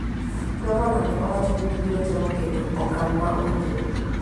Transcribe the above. Gavana ne owacho ni gibiro temo keto okang' ma owinjore